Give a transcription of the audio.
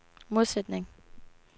modsætning